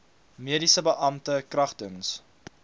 mediese beampte kragtens